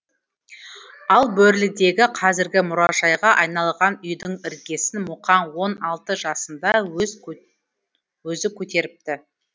ал бөрлідегі қазіргі мұражайға айналған үйдің іргесін мұқаң он алты жасында өзі көтеріпті